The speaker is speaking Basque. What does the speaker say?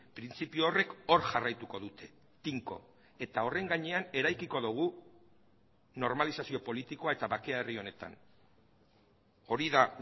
printzipio horrek hor jarraituko dute tinko eta horren gainean eraikiko dugu normalizazio politikoa eta bakea herri honetan hori da